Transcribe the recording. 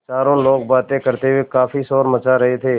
चारों लोग बातें करते हुए काफ़ी शोर मचा रहे थे